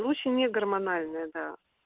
лучше негормональная да